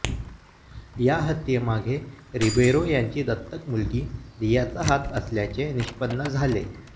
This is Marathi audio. या हत्येमागे रिबेरो यांची दत्तक मुलगी रियाचा हात असल्याचे निष्पण्ण झाले